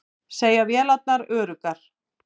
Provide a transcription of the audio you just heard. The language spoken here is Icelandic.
Segja vélarnar öruggar